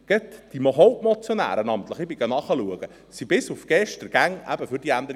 Gerade die Hauptmotionäre – und ich habe nachgeschaut – waren bis gestern für die Änderung